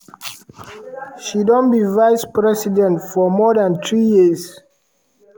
she don be vice-president for more dan three years.